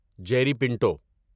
Jerry Pinto